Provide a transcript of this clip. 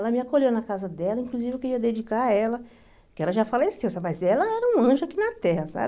Ela me acolheu na casa dela, inclusive eu queria dedicar a ela, porque ela já faleceu, mas ela era um anjo aqui na Terra, sabe?